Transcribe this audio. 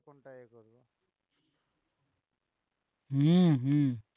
হম হম